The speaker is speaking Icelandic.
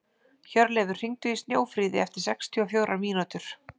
Hjörleifur, hringdu í Snjófríði eftir sextíu og fjórar mínútur.